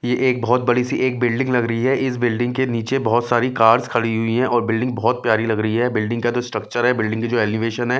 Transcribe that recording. ये एक बहुत बड़ी सी एक बिल्डिंग लग रही है इस बिल्डिंग के नीचे बहुत सारी कार्स खड़ी हुई हैं और बिल्डिंग बहुत प्यारी लग रही है बिल्डिंग का जो स्ट्रक्चर है बिल्डिंग के जो एलिवेशन है।